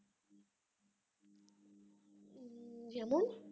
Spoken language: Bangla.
যেমন